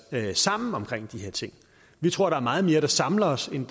tale sammen om de her ting vi tror der er meget mere der samler os end